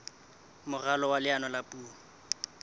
moralo wa leano la puo